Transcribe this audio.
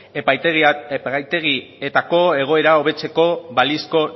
epaitegietako egoera hobetzeko balizko